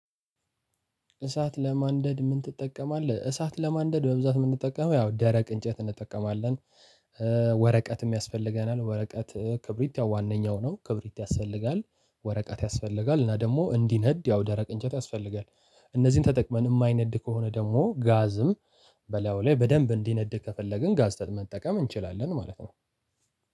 "እሳት ለማንደድ ምን ትጠቀማለህ?" እሳት ለማንደድ በብዛት የምንጠቀመው ያው ደረቅ እንጨት እንጠቀማለን። ወረቀትም ያስፈልገናል ወረቀት ክብሪት ያው ዋነኛው ነው ክብሪት ያስፈልጋል፣ ወረቀት ያስፈልጋል እና ደግሞ እንዲነድ ያው ደረቅ እንጨት ያስፈልጋል። እነዚህን ተጠቅመን የማይነድ ከሆነ ደግሞ ጋዝም በላዩ ላይ በደንብ እንዲነድ ከፈለግን ጋዝ ታት መጠቀም እንችላለን ማለት ነው።